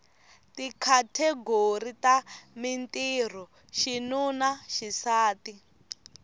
tikhategori ta mintirho xinuna xisati